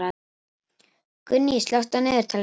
Gunný, slökktu á niðurteljaranum.